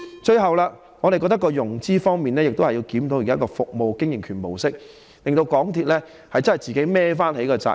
最後，我們認為在融資方面，亦須檢討現時的服務經營權模式，讓港鐵自行負上全部責任。